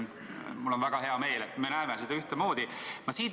Mul on väga hea meel, et me näeme seda ühtemoodi.